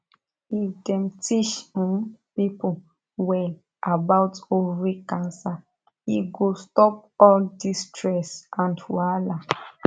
if dem teach um pipo well about ovary cancer e go stop all the stress and wahala